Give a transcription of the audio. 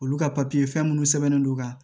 Olu ka papiye fɛn minnu sɛbɛnnen don ka